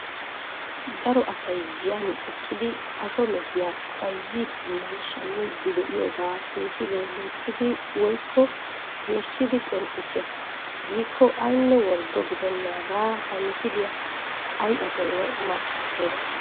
Daro asay giyan eqqidi asho mehiya bayzziidiinne shammiiddi de"iyogaa misilee loyttidi woykko geeshshidi qonccissees giikko aynne worddo gidennaagaa ha misiliya ay asinne markkattiyoba.